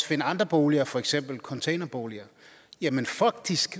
finde andre boliger for eksempel containerboliger jamen faktisk